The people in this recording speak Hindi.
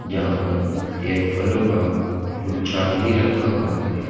यहां पर एक फलों का गुच्छा भी रखा हुआ है।